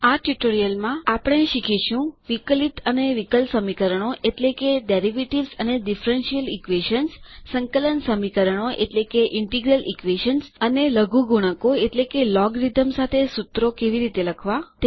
આ ટ્યુટોરીયલમાં આપણે શીખીશું વિકલિત ડેરિવેટિવ્સ અને વિકલ સમીકરણો ડીફરેન્શીયલ ઈક્વેશન્સ સંકલન સમીકરણો ઇન્ટીગ્રલ ઈક્વેશન્સ અને લઘુગુણકો લોગેરીધમ્સ સાથે સુત્રો કેવી રીતે લખવાં